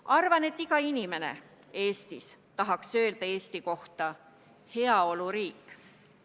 Arvan, et iga inimene Eestis tahaks öelda Eesti kohta heaoluriik.